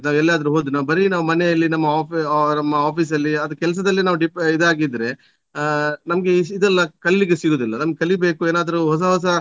ನಾವು ಎಲ್ಲಾದ್ರು ಹೋದ್ರೆ ನಾವು ಬರೀ ನಾವು ಮನೆಯಲ್ಲಿ ನಮ್ಮ offi~ ನಮ್ಮ office ಅಲ್ಲಿ ಅದು ಕೆಲಸದಲ್ಲಿ ನಾವು depe~ ಇದಾಗಿದ್ರೆ ಆ ನಮ್ಗೆ ಇದೆಲ್ಲ ಕಲಿಲಿಕ್ಕೆ ಸಿಗುದಿಲ್ಲ ನಮ್ಗೆ ಕಲಿಬೇಕು ಏನಾದ್ರೂ ಹೊಸ ಹೊಸ